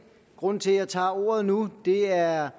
grunden til at jeg tager ordet nu er